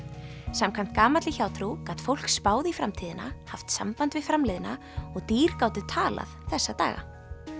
samkvæmt gamalli hjátrú gat fólk spáð í framtíðina haft samband við framliðna og dýr gátu talað þessa daga